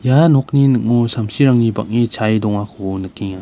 nokni ning·o samsirangni bang·e chae dongako nikenga.